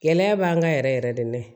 Gɛlɛya b'an kan yɛrɛ yɛrɛ de